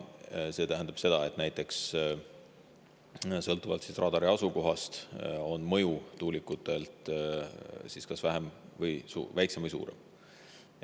See tähendab, et näiteks sõltuvalt radari asukohast on tuulikute mõju kas väiksem või suurem.